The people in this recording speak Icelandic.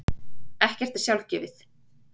Ekkert er sjálfgefið.